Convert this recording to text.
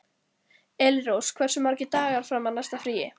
Elínrós, hversu margir dagar fram að næsta fríi?